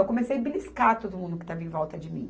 Eu comecei beliscar todo mundo que estava em volta de mim.